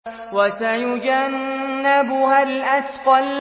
وَسَيُجَنَّبُهَا الْأَتْقَى